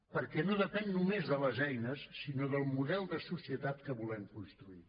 perquè no depèn només de les eines sinó del model de societat que volem construir